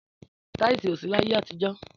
Tìàsí òsí làyé àtíjò